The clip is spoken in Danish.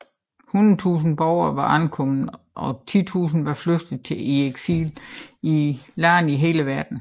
Hundrede tusinder borgere var omkommet og titusinder var flygtet i eksil i lande i hele verden